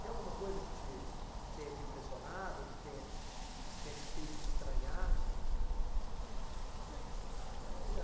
Tem alguma coisa que te que tenha te impressionado, ou que tenha que tenha te feito estranhar?